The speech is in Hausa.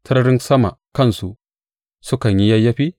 Sararin sama kansu sukan yi yayyafi?